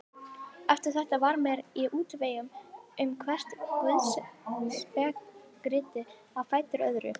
Eftir þetta var ég mér í útvegum um hvert guðspekiritið á fætur öðru.